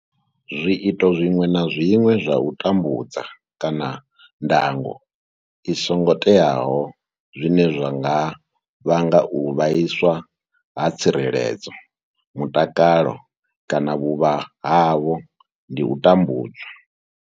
Zwiito zwiṅwe na zwiṅwe zwa u tambudza kana ndango i songo teaho zwine zwa nga vhanga u vhaiswa ha tsireledzo, mutakalo kana vhuvha havho ndi u tambudzwa.